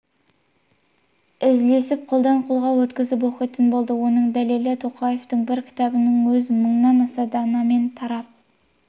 үлесіп қолдан-қолға өткізіп оқитын болды оның дәлелі тоқаевтың бір кітабының өзі мыңнан аса данамен тарап